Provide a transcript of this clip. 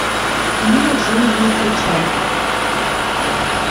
книга джунглей включай